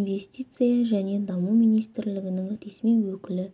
инвестиция және даму министрлігінің ресми өкілі